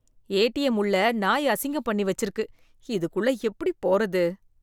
ATM உள்ள நாய் அசிங்கம் பண்ணி வச்சிருக்கு, இதுக்குள்ள எப்படி போறது.